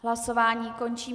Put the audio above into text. Hlasování končím.